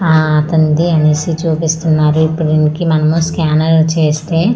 ఆ అతనిది చూపిస్తున్నారు ఇప్పుడు ఈయనకి మనం స్కానర్ చేస్తే ఆ--